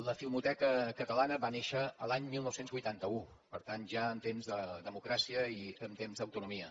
la filmoteca catalana va néixer l’any dinou vuitanta u per tant ja en temps de democràcia i en temps d’autonomia